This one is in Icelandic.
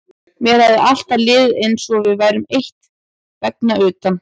Mér hafði alltaf liðið eins og við værum eitt vegna utan